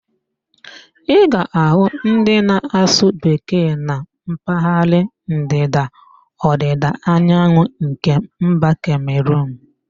Ị ga-ahụ ndị na-asụ Bekee na mpaghara Ndịda-Ọdịda Anyanwụ nke mba Kemeruun